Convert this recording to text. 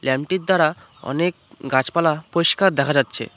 ল্যামটির দ্বারা অনেক গাছপালা পইষ্কার দেখা যাচ্ছে।